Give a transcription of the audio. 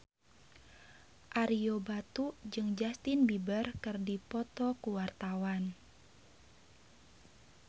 Ario Batu jeung Justin Beiber keur dipoto ku wartawan